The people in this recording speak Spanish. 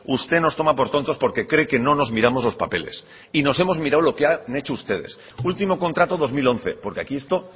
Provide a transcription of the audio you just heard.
usted nos toma por tontos porque cree que no nos miramos los papeles y nos hemos mirado lo que han hecho ustedes último contrato dos mil once porque aquí esto